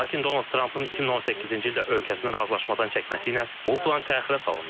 Lakin Donald Trampın 2018-ci ildə ölkəsini razılaşmadan çəkməsi ilə bu plan təxirə salındı.